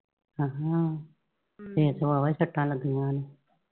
ਹਾਅ ਫੇਰ ਤੇ ਵਾਹ ਵਾਹ ਸੱਟਾਂ ਲੱਗੀਆਂ ਨੇ।